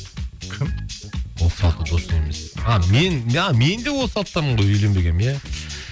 кім отыз алты досың емес а мен де отыз алтыдамын ғой үйленбегенмін иә